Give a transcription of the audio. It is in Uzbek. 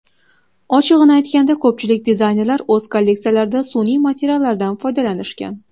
Ochig‘ini aytganda, ko‘pchilik dizaynerlar o‘z kolleksiyalarida sun’iy materiallardan foydalanishgan.